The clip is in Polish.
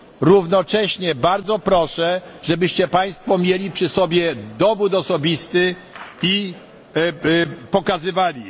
Równocześnie bardzo proszę, żebyście Państwo mieli przy sobie dowód osobisty i go okazali.